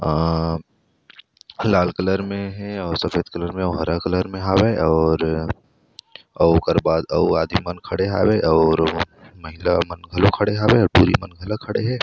आ लाल कलर में हे सफ़ेद कलर में अउ हरा कलर हरे और अउ ओकर बाद अउ आदमी मन खड़े हावे और महिला मन खड़े हावे टुरी मन घला खड़े हे।